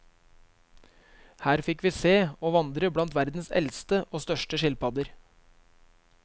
Her fikk vi se og vandre blant verdens eldste og største skilpadder.